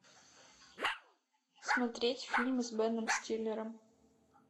смотреть фильмы с беном стиллером